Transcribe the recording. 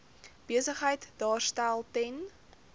besigheid daarstel ten